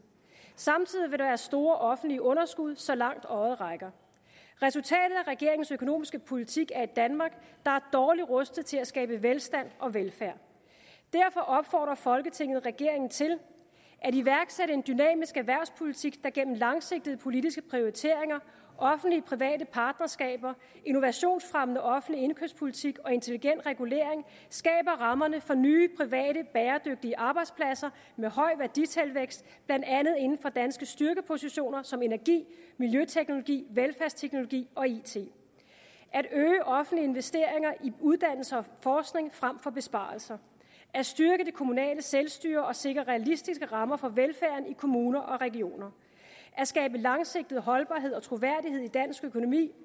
samtidig vil der være store offentlige underskud så langt øjet rækker resultatet af regeringens økonomiske politik er et danmark der er dårligt rustet til at skabe velstand og velfærd derfor opfordrer folketinget regeringen til at iværksætte en dynamisk erhvervspolitik der gennem langsigtede politiske prioriteringer offentlig private partnerskaber innovationsfremmende offentlig indkøbspolitik og intelligent regulering skaber rammerne for nye private bæredygtige arbejdspladser med høj værditilvækst blandt andet inden for danske styrkepositioner som energi miljøteknologi velfærdsteknologi og it at øge offentlige investeringer i uddannelse og forskning frem for besparelser at styrke det kommunale selvstyre og sikre realistiske rammer for velfærden i kommuner og regioner at skabe langsigtet holdbarhed og troværdighed i dansk økonomi